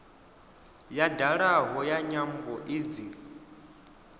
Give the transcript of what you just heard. ya dalaho ya nyambo idzi